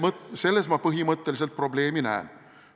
"Jah, selles ma põhimõtteliselt probleemi näen.